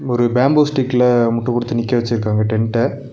ஒரு பேம்பு ஸ்டிக்ல முட்டு குடுத்து நிக்க வெச்சிருக்காங்க டெண்ட்ட .